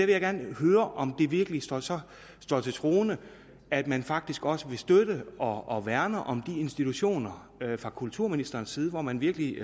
jeg gerne høre om det virkelig så så står til troende at man faktisk også vil støtte og værne om de institutioner fra kulturministerens side om man virkelig